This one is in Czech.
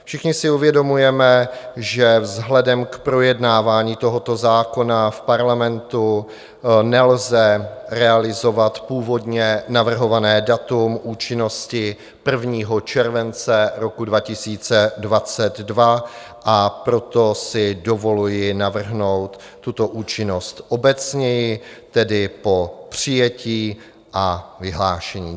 Všichni si uvědomujeme, že vzhledem k projednávání tohoto zákona v Parlamentu nelze realizovat původně navrhované datum účinnosti 1. července roku 2022, a proto si dovoluji navrhnout tuto účinnost obecněji, tedy po přijetí a vyhlášení.